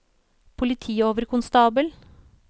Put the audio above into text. politioverkonstabel